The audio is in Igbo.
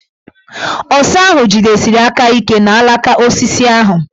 Ọsa ahụ jidesiri aka ike n' alaka osisi ahụ.